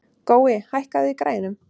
Gói, hækkaðu í græjunum.